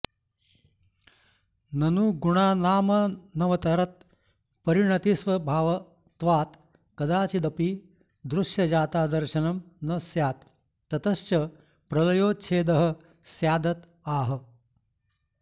ननु गुणानामनवरतपरिणतिस्वभावत्वात् कदाचिदपि दृश्यजातादर्शनं न स्यात् ततश्च प्रलयोच्छेदः स्यादत आह